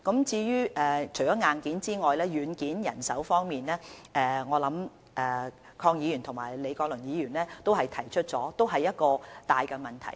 除了硬件，軟件例如人手亦十分重要，鄺議員和李國麟議員剛才也指出這是一個大問題。